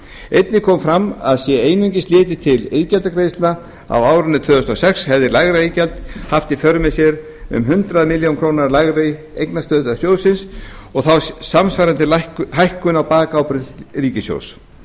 einnig kom fram að sé einungis litið til iðgjaldagreiðslna á árinu tvö þúsund og sex hefði lægra iðgjald haft í för með sér um hundrað milljónir króna lægri eignastöðu sjóðsins og þá samsvarandi hækkun á bakábyrgð ríkissjóðs